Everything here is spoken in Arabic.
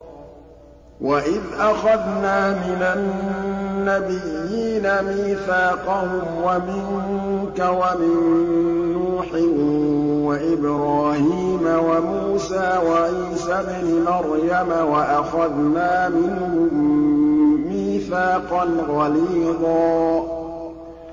وَإِذْ أَخَذْنَا مِنَ النَّبِيِّينَ مِيثَاقَهُمْ وَمِنكَ وَمِن نُّوحٍ وَإِبْرَاهِيمَ وَمُوسَىٰ وَعِيسَى ابْنِ مَرْيَمَ ۖ وَأَخَذْنَا مِنْهُم مِّيثَاقًا غَلِيظًا